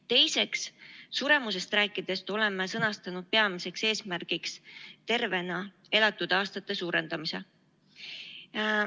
Teiseks, suremusest rääkides oleme sõnastanud peamiseks eesmärgiks tervena elatud aastate arvu suurendamise.